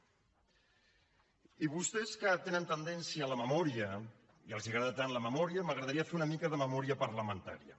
i amb vostès que tenen tendència a la memòria i els agrada tant la memòria m’agradaria fer una mica de memòria parlamentària